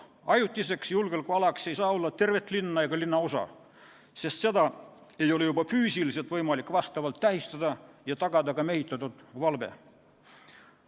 Ajutine julgeolekuala ei saa olla terve linn ega linnaosa, sest seda ei ole juba füüsiliselt võimalik vastavalt tähistada ega tagada seal mehitatud valve.